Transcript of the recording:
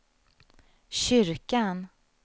kyrkan